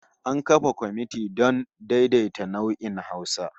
An kafa komiti don daidaita nau'o'in Hausa